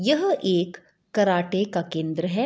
यह एक कराटे का केंद्र है।